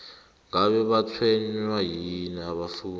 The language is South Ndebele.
ngabe batshwenywa yini abafundi